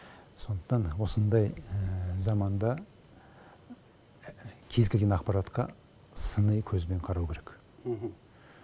сондықтан осындай заманда кез келген ақпаратқа сыни көзбен қарау керек